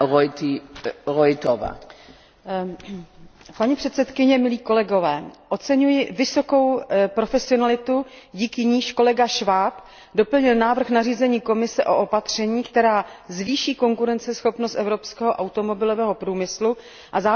Paní předsedkyně, milí kolegové, oceňuji vysokou profesionalitu, díky níž kolega Schwab doplnil návrh nařízení Komise o opatření, která zvýší konkurenceschopnost evropského automobilového průmyslu a zároveň umožní členským státům účinně dohlížet na to,